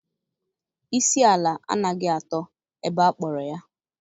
Isi ala anaghị atọ ebe akpọrọ ya